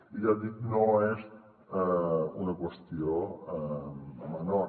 i ja dic no és una qüestió menor